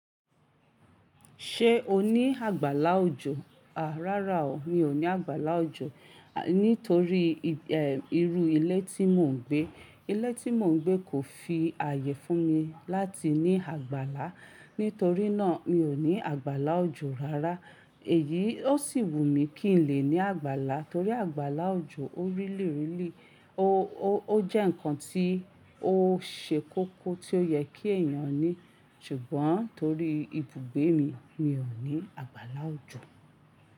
Ṣé o ní àgbàlá òjò? À, rárá o, mi ò ní àgbàlá òjò. À, nítorí ì, eh, irú ilé tí mò ń gbé. Ilé tí mò ń gbé kò fi ààyè fún mi láti ní àgbàlá. Nítorí náà, mi ò ní àgbàlá òjò rárá. Èyí ó sì wù mí kí n lè ní àgbàlá, torí àgbàlá òjò ó rírìlírì. Ó jẹ́ nǹkan tí ó ṣe kókó tí ó yẹ kí èèyàn ní. Ṣùgbọ́n torí ibùgbé mi, mi ò ní àgbàlá òjò.